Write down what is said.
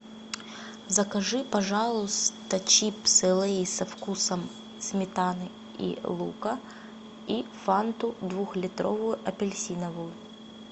закажи пожалуйста чипсы лейс со вкусом сметаны и лука и фанту двухлитровую апельсиновую